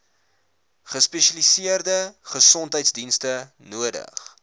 gespesialiseerde gesondheidsdienste nodig